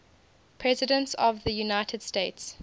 presidents of the united states